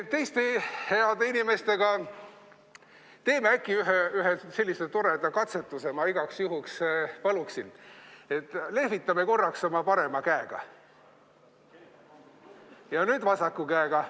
Teiste heade inimestega teeme äkki ühe sellise toreda katsetuse: ma igaks juhuks palun, et me lehvitame korraks oma parema käega ja nüüd vasaku käega.